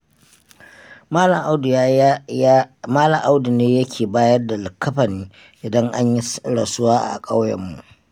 Malam Audu ne yake bayar da likkafani idan anyi rasuwa a ƙauyenmu.